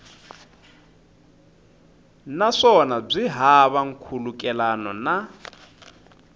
naswona byi hava nkhulukelano na